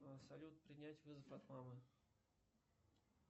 салют принять вызов от мамы